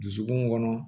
Dusukun kɔnɔ